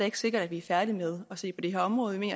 ikke sikkert at vi er færdige med at se på det her område men